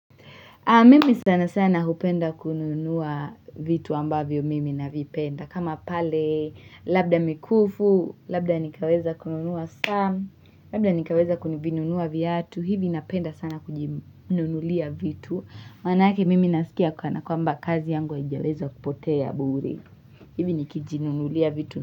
Mimi sana sana hupenda kununua vitu ambavyo mimi na vipenda. Kama pale labda mikufu, labda nikaweza kununua sam, labda nikaweza vinunua viatu. Hivi napenda sana kujinunulia vitu. Manaake mimi nasikia kwana kwamba kazi yangu haijaweza kupotea bure. Hivi nikijinunulia vitu.